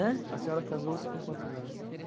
Ãh? A senhora casou-se com quantos anos?